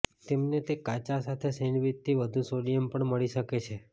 તમને તે કાચા સાથે સેન્ડવીચથી વધુ સોડિયમ પણ મળી શકે છે